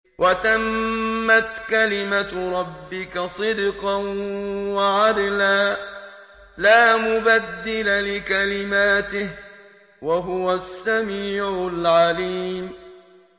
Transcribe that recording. وَتَمَّتْ كَلِمَتُ رَبِّكَ صِدْقًا وَعَدْلًا ۚ لَّا مُبَدِّلَ لِكَلِمَاتِهِ ۚ وَهُوَ السَّمِيعُ الْعَلِيمُ